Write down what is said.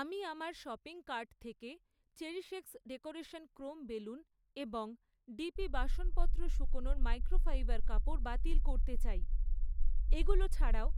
আমি আমার shopping cart থেকে চেরিশএক্স ডেকোরেশন ক্রোম বেলুন এবং ডিপি বাসনপত্র শুকোনোর মাইক্রোফাইবার কাপড় বাতিল করতে চাই। এগুলো ছাড়াও,